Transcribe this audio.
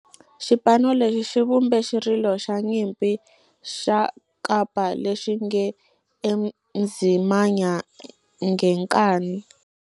Xipano lexi xi vumbe xirilo xa nyimpi xa kampa lexi nge 'Ezimnyama Ngenkani'.